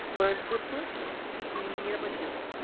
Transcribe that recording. world cup inning നെ പറ്റിയോ?